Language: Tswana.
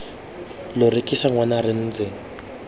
lo rekisa ngwana re ntse